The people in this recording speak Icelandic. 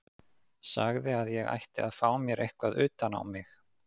Sagði að ég ætti að fá mér eitthvað utan á mig.